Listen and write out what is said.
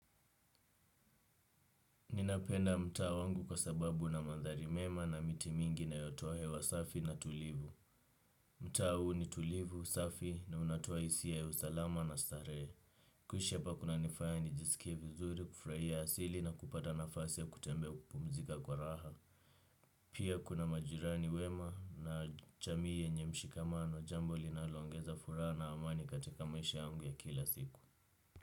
Ninapenda mtaa wangu kwa sababu ina maandhari mema na miti mingi inayo toa hewa safi na tulivu. Mtaa huu ni tulivu, safi na unatoa hisia ya usalama na starehe. Kuishi hapa kuna nifaya nijiskie vizuri, kufurahia asili na kupata nafasi kutembea kupumzika kwa raha. Pia kuna majirani wema na jamii yenye mshikamano jambo linalo ongeza furaha na amani katika maisha yangu ya kila siku.